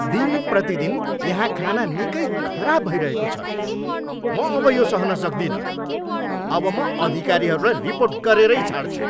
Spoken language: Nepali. दिनप्रतिदिन यहाँ खाना निकै खराब भइरहेको छ। म अब यो सहन सक्दिनँ । अब म अधिकारीहरूलाई रिपोर्ट गरेरै छाड्छु।